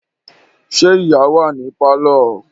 Ṣé ìyá wà ní pálọ̀?